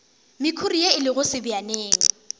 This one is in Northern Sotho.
mekhuri ye e lego sebjaneng